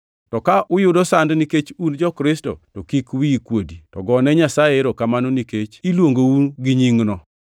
To ka uyudo sand nikech un jo-Kristo to kik wiyi kuodi, to gone Nyasaye erokamano nikech iluongou gi nyingno.